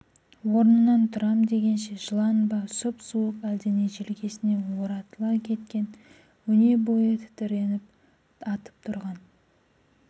орнынан тұрам дегенше жылан ба сұп-суық әлдене желкесіне оратыла кеткен өнебойы тітіреніп атып тұрған